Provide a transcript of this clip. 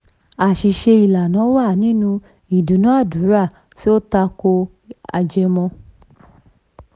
nine àṣìṣe ìlànà wà nínú ìdúnnàdúnrà tó tako ajẹmọ́.